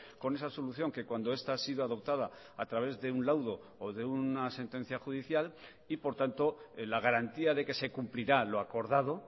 con esa solución que cuando esta ha sido adoptada a través de un laudo o de una sentencia judicial y por tanto la garantía de que se cumplirá lo acordado